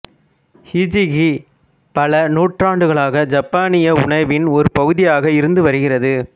hijiki பல நூற்றாண்டுகளாக ஜப்பானிய உணவின் ஒரு பகுதியாக இருந்து வருகிறது